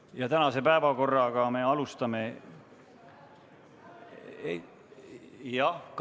Jah, Kaja Kallas, palun!